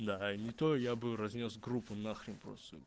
да не то я бы разнёс группу нахрен просто